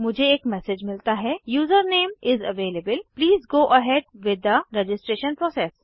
मुझे एक मैसेज मिलता है कि user name is available please go ahead with the registration process